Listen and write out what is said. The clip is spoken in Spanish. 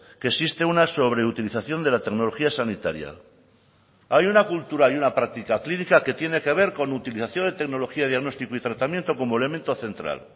que existe una sobreutilización de la tecnología sanitaria hay una cultura y una práctica clínica que tiene que ver con utilización de tecnología diagnóstico y tratamiento como elemento central